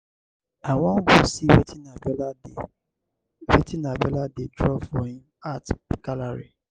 i wan go see wetin abiola dey wetin abiola dey draw for him art gallery.